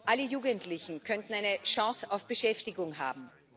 Alle Jugendlichen könnten eine Chance auf Beschäftigung haben.